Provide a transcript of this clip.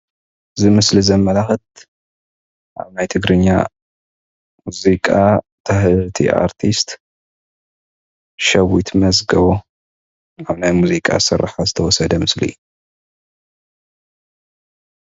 እዚ ምስሊ ዘመላክት ኣብ ናይ ትግርኛ ሙዚቃ ኣርቲስት ሸዊት መዝገቦ ኣብ ናይ ሙዚቃ ስራሕ ዝተወሰደ ምልሊ እዩ፡፡